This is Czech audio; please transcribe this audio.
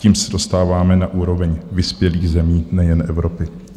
Tím se dostáváme na úroveň vyspělých zemí nejen Evropy.